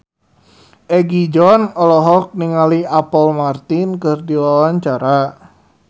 Egi John olohok ningali Apple Martin keur diwawancara